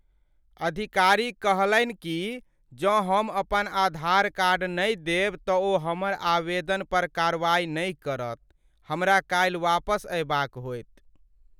अधिकारी कहलनि कि जौं हम अपन आधार कार्ड नहि देब तऽ ओ हमर आवेदन पर कार्रवाई नहि करत। हमरा काल्हि वापस अएबाक होएत।